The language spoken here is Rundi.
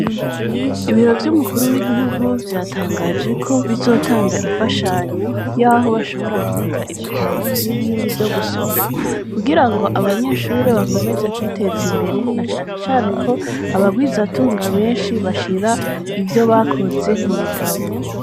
Ibiro vy'umukuru w'igihugu vyatangajeko bizotanga imfashanyo yaho bashobora kubika ibitabo n'ibindi vyo gusoma kugira ngo abanyeshure bakomeze kwiteza imbere na canecane ko abagwizatunga benshi bashira ivyo bakoze mu bitabo.